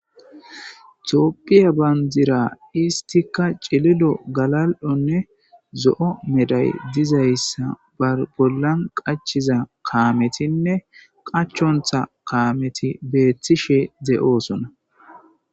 Tooppiya bandira istika cililo galal'onne zo'o meday dizayssa babollan qachiza kaametinne qachontha kaameti beeththishe de'oosona